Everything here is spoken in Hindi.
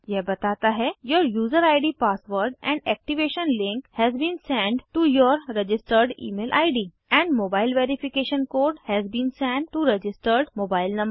यह बताता है your user ID password and activation link has been send to your registered email ID and mobile verification code has been send to registered mobile number